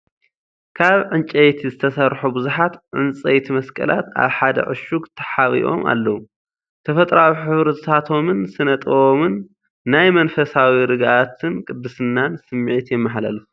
ካብ ዕንጨይቲ ዝተሰርሑ ብዙሓት ዕንጨይቲ መስቀላት ኣብ ሓደ ዕሹግ ተሓቢኦም ኣለዉ። ተፈጥሮኣዊ ሕብርታቶምን ስነ-ጥበቦምን ናይ መንፈሳዊ ርግኣትን ቅድስናን ስምዒት የመሓላልፉ።